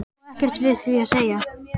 Og ekkert við því að segja.